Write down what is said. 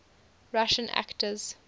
russian actors